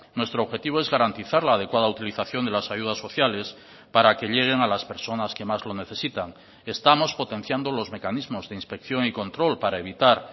nuestro objetivo es garantizar la adecuada utilización de las ayudas sociales para que lleguen a las personas que más lo necesitan estamos potenciando los mecanismos de inspección y control para evitar